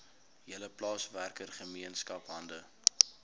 hele plaaswerkergemeenskap hande